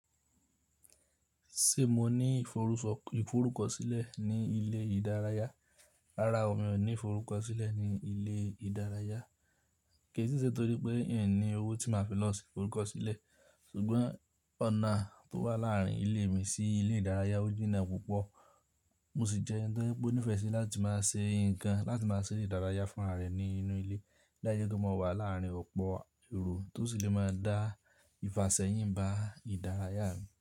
Ṣé mo ní ìforúkọsílẹ̀ ní ilé ìdárayá? Rárá o, mi ò ní ìforúkọsílẹ̀ ní ilé ìdárayá, kì í si i sẹ́ nitorí pé i ní owó tí màá fi lọ ṣe ìforúkọsílẹ̀. Ṣùgbọ́n ọ̀nà tó wà láàárín ilé mi sí ilé ìdárayá òjìná púpọ̀, mo sì jẹ́ ẹni to ye pe o nifẹ́ sí láti máa ṣe nǹkan láti máa ṣe ere ìdárayá fún rààrẹ́ ní inú ilé lá i se pe mo wà láàárín ọ̀pọ̀ ero, to sisì lè máa dá ìfasẹ̀yìn bá ìdárayá mi.